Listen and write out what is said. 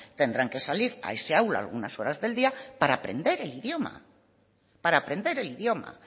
tendrán que salir a ese aula algunas horas del día para aprender el idioma para aprender el idioma